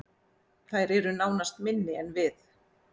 Þær eru nánast minni en við